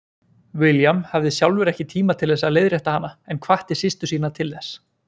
William hafði sjálfur ekki tíma til að leiðrétta hana en hvatti systur sína til þess.